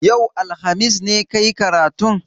Yau, alhamis, ne ka yi karatun?